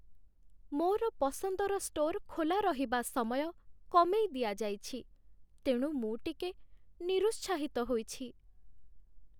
ମୋର ପସନ୍ଦର ଷ୍ଟୋର୍ ଖୋଲା ରହିବା ସମୟ କମେଇ ଦିଆଯାଇଛି, ତେଣୁ ମୁଁ ଟିକେ ନିରୁତ୍ସାହିତ ହୋଇଛି।